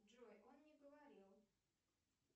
джой он не говорил